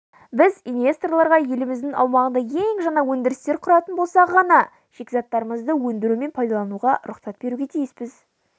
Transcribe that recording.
біз инвесторларға еліміздің аумағында ең жаңа өндірістер құратын болса ғана шикізаттарымызды өндіру мен пайдалануға рұқсат беруге тиіспіз